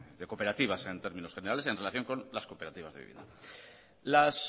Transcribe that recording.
de cooperativas en términos generales en relación con las cooperativas de vivienda las